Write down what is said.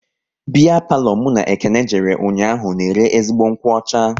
Biya palo mụ na Ekene jere ụnyaahụ na ere ezigbo nkwụ ọcha